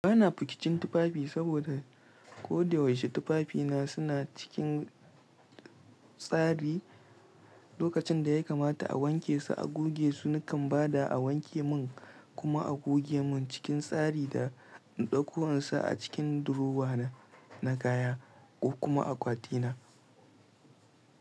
Ba na fukicin tufafi saboda ko da yaushe tufafina suna cikin tsari. Lokacin da ya kamata a wanke su, a goge su, nakan ba da a wanke mun kuma a goge mun cikin tsari da in ɗauko in sa a cikin durowa na na kaya ko kuma akwati na.